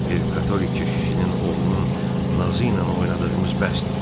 Bir katolik keşişinin oğlunun nazı ilə oynadığımız bəsdir.